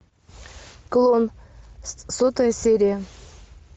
клон сотая серия